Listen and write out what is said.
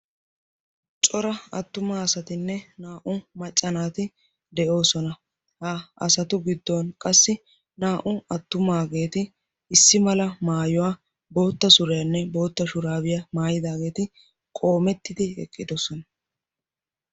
cora attuma asatinne naa''u maccanaati de'oosona ha asatu giddon qassi naa''u attumaageeti issi mala maayuwaa bootta suriyaanne bootta shuraabiyaa maayidaageeti qoomettidi eqqidosona